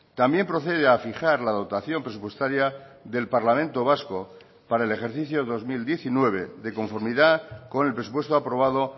también procede a fijar la dotación presupuestaria del parlamento vasco para el ejercicio dos mil diecinueve de conformidad con el presupuesto aprobado